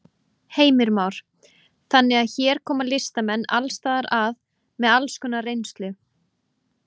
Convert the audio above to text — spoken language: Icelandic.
Heimir Már: Þannig að hér koma listamenn alls staðar að með alls konar reynslu?